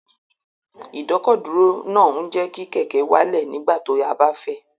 Ìdọ́kọ̀dúró náà ń jẹ́ kí kẹ̀kẹ́ wálẹ̀ nígbà tí a bá fẹ́